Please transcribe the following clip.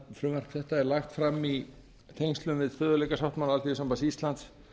frumvarp þetta er lagt fram í tengslum við stöðugleikasáttmála alþýðusambands íslands